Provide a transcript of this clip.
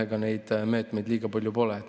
Ega neid meetmeid liiga palju olegi.